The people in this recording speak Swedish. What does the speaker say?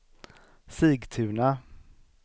Sigtuna